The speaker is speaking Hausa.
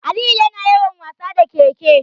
Aliyu yana yawan wasa da ƙeƙe.